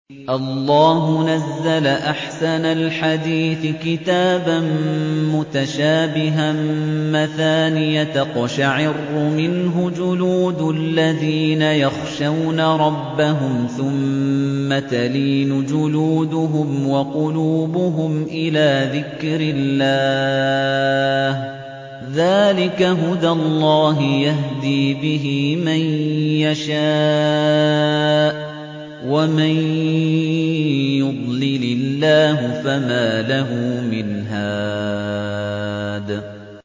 اللَّهُ نَزَّلَ أَحْسَنَ الْحَدِيثِ كِتَابًا مُّتَشَابِهًا مَّثَانِيَ تَقْشَعِرُّ مِنْهُ جُلُودُ الَّذِينَ يَخْشَوْنَ رَبَّهُمْ ثُمَّ تَلِينُ جُلُودُهُمْ وَقُلُوبُهُمْ إِلَىٰ ذِكْرِ اللَّهِ ۚ ذَٰلِكَ هُدَى اللَّهِ يَهْدِي بِهِ مَن يَشَاءُ ۚ وَمَن يُضْلِلِ اللَّهُ فَمَا لَهُ مِنْ هَادٍ